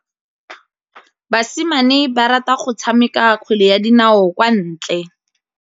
Basimane ba rata go tshameka kgwele ya dinaô kwa ntle.